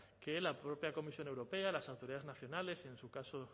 que la propia comisión europea las autoridades nacionales y en su caso